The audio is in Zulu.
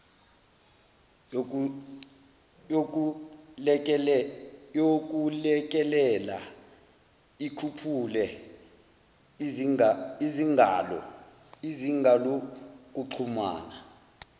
yokulekelela ikhuphule izingalokuxhumana